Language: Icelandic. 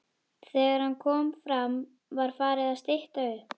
Þegar hann kom fram var farið að stytta upp.